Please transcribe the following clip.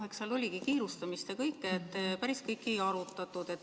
No eks seal oligi kiirustamist ja kõike, nii et päris kõike ei arutatud.